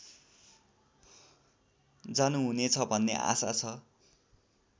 जानुहुनेछ भन्ने आशा छ